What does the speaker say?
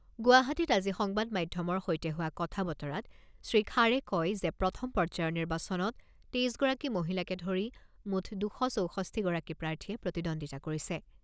গুৱাহাটীত আজি সংবাদ মাধ্যমৰ সৈতে হোৱা কথা বতৰাত শ্ৰীখাড়ে কয় যে প্ৰথম পৰ্যায়ৰ নিৰ্বাচনত তেইছ গৰাকী মহিলাকে ধৰি মুঠ দুশ চৌষষ্ঠিগৰাকী প্ৰাৰ্থীয়ে প্ৰতিদ্বন্দ্বিতা কৰিছে।